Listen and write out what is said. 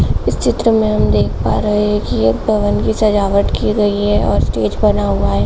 इस चित्र में हम देख पा रहे हैं कि एक भवन की सजावट की गई है और स्टेज बना हुआ है।